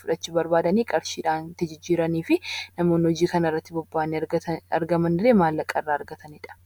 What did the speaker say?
fudhachuu barbaadan qarshiidhaan itti jijjiiranii fi namoonni hojii kanarratti bobba'anii jiran illee maallaqa irraa argatanidha.